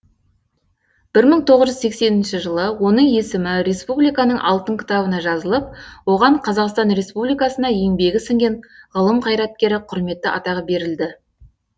бір мың тоғыз жүз сексенінші жылы оның есімі республиканың алтын кітабына жазылып оған қазақстан республикасына еңбегі сіңген ғылым қайраткері құрметті атағы берілді